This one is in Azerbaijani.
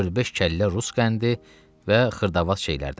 dörd-beş kəllə rus qəndi və xırdavat şeylərdən.